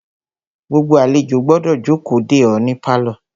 Gbogbo àlejò gbọ́dọ̀ jókòó de é ní pálọ̀.